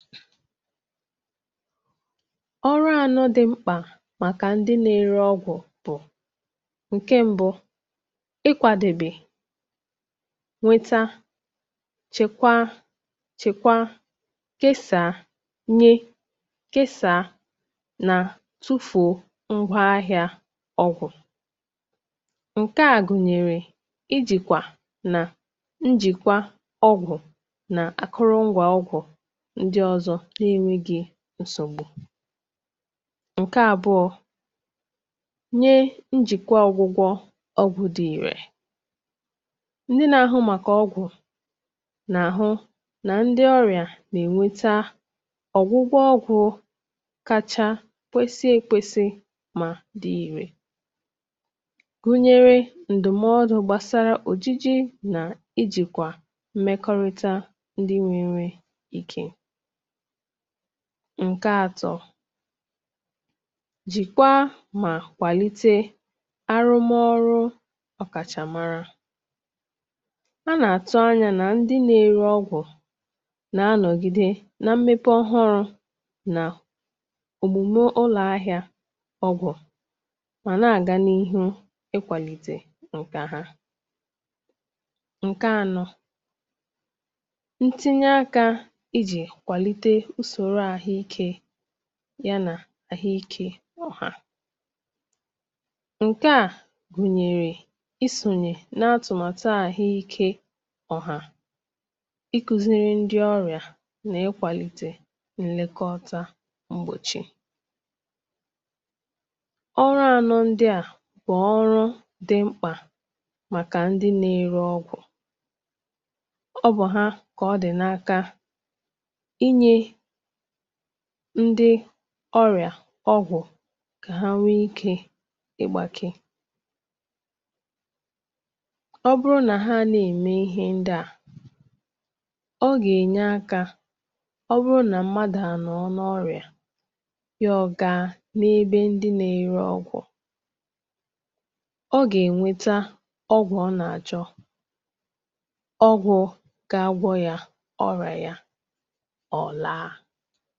ọrụ anọ dị mkpà màkà ndị na-ere ọgwụ̀ bụ̀ ǹke mbụ ị kwadèbè nweta chèkwa chèkwa kesàa nye kesàa nà tufùo ngwọ ahịā ọgwụ̀ ǹkè a gùnyèrè ị jị̀kwà nà njị̀kwa ọgwụ̀ nà akụrụ ngwà ọgwụ̀ ndị ọzọ nà-enweghi nsògbu ǹkẹ àbụọ nye njị̀kwa ọgwụgwọ ọgwụ dị ìre ndị nā ahụ màkà ọgwụ̀ nà àhụ nà ndị ọrịà nà ènweta ọgwụgwọ ọgwụ̄ kacha kwesi ekwesi mà dị ìrè gụnyẹrẹ ǹdụ̀mọdụ̄ gbàsara òjiji ị jị̀kwà mmekọrịta ndị nwe enwe ikē ǹkẹ atọ jị̀kwa mà kwàlite arụmọrụ ọ̀kàchàmara a nà àtụ anyā nà ndị nā-ere ọgwụ̀ nā nọ̀gide nā mmepe ọhụrụ nà òmùme ụlọ̀ ahịā ọ̀gọ̀ mà nā-àga n’ihu ị kwàlite ǹkẹ̀ hā ǹkẹ anọ ntinye akā ịjị̀ kwàlite usòro ahụ̀ ikē yā nà àhụ ikē ọ̀hà ǹkẹ̀ a gùnyèrè ị sònyè nā atụ̀màtụ àhụ ikē ọ̀hà ị kuziri ndị orịà nà ịkwàlìtè nnẹkọta mgbòchi ọrụ ànọ ndịà bụ̀ ọrụ dị mkpà màkà ndị nā ere ọgwụ̀ ọ bụ̀ ha kà ọ dị̀ n’aka i nyē ndị ọrị̀à ọgwụ̀ kà ha nwẹ ikē ị gbāke ọ bụrụ nà hà a nà ème ihe ndị à ọ gà ènye akā ọ bụrụ nà mmadù à nọọ n’ọrị̀à ya ọ gaa n’ebe ndị na ere ogwụ̀ ọ gà ènweta ọgwụ ọ nà àchọ ọgwụ ga agwọ yā ọrị̀à ya ọ̀ laa